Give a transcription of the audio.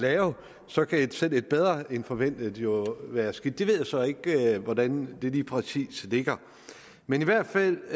lave så kan selv et bedre end forventet jo være skidt jeg ved så ikke hvordan det lige præcis ligger men i hvert fald